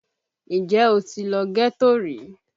Ǹjẹ́ o ti lọ ghetto rí?